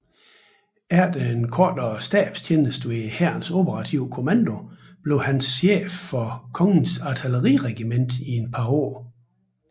Efter en kortere stabstjeneste ved Hærens Operative Kommando bliver han chef for Kongens Artilleriregiment i et par år